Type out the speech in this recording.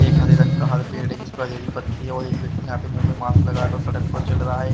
एक हरे रंग का हर पेड़ है जिस पर हरी पत्ती है और एक व्यक्ति यहां पे मुंह पर मास्क लगाकर सड़क पर चल रहा है।